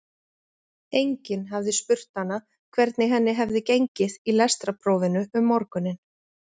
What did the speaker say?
Enginn hafði spurt hana hvernig henni hefði gengið í lestrarprófinu um morguninn.